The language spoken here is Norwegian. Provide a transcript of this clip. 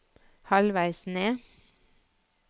halvveis ned